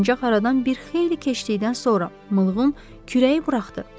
Ancaq aradan bir xeyli keçdikdən sonra Mığım kürəyi buraxdı.